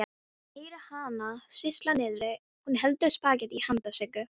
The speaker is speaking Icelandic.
Ég heyri hana sýsla niðri, hún eldar spagettí handa Siggu.